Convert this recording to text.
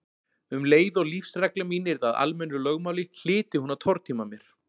Um leið og lífsregla mín yrði að almennu lögmáli hlyti hún að tortíma mér.